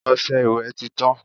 Ọṣẹ ìwẹ̀ tí tán.